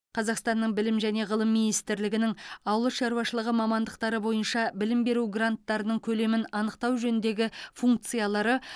қазақстанның білім және ғылым министрлігінің ауыл шаруашылығы мамандықтары бойынша білім беру гранттарының көлемін анықтау жөніндегі функциялары